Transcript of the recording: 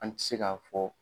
An tɛ se k'a' fɔ.